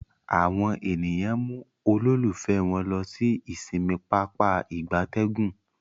Àwọn ènìyàn mú ololufe wón ló sì ìsinmi Pápá ìgbatẹ́gùn.